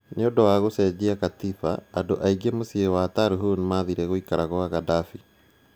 Nĩundũ ya kucenjia katiba, andũ ainge mucĩĩ munene wa Tarhun mathire gwĩkara kwa Gaddafi